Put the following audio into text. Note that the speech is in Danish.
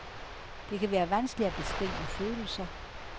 Det kan være vanskeligt at beskrive følelser.